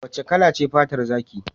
Wace kala ce fatar zaki?